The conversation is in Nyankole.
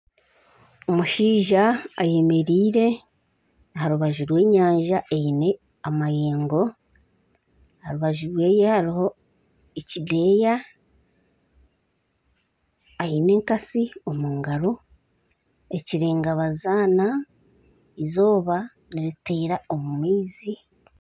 Omushaija ayemereire aha rubaju rw'enyanja eine amayeengo, aha rubaju rwe hariho ekideeya aine enkasi omu ngaro ekirenga bazaana erizooba niriteera omu maizi.